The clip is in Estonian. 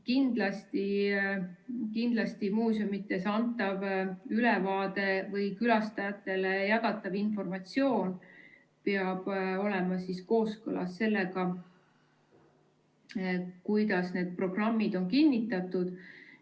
Kindlasti muuseumides antav ülevaade või külastajatele jagatav informatsioon peab olema kooskõlas sellega, kuidas need programmid on kinnitatud.